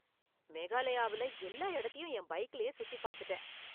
மேகலாயாவுல எல்லா இடத்தையும் என் பைக்கிலேயே சுற்றி பார்த்துட்டேன்.